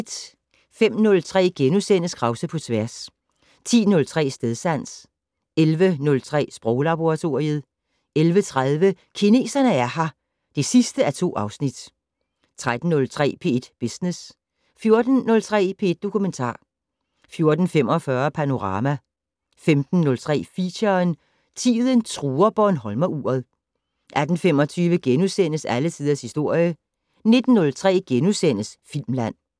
05:03: Krause på tværs * 10:03: Stedsans 11:03: Sproglaboratoriet 11:30: Kineserne er her (2:2) 13:03: P1 Business 14:03: P1 Dokumentar 14:45: Panorama 15:03: Feature: Tiden truer bornholmeruret 18:25: Alle Tiders Historie * 19:03: Filmland *